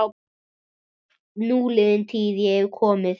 Núliðin tíð- ég hef komið